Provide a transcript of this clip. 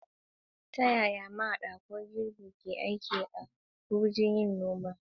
Ta yaya mahaɗa ko girbi ke aiki a wurin noma?